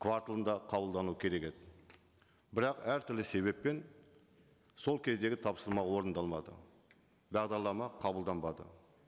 кварталында қабылдану керек еді бірақ әртүрлі себеппен сол кездегі тапсырма орындалмады бағдарлама қабылданбады